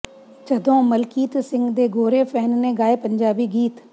ਜਦੋਂ ਮਲਕੀਤ ਸਿੰਘ ਦੇ ਗੋਰੇ ਫੈਨ ਨੇ ਗਾਏ ਪੰਜਾਬੀ ਗੀਤ